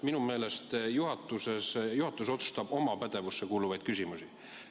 Minu meelest juhatus otsustab oma pädevusse kuuluvaid küsimusi.